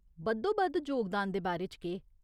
बद्धोबद्ध जोगदान दे बारे च केह् ?